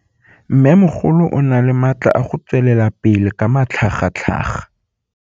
Mmêmogolo o na le matla a go tswelela pele ka matlhagatlhaga.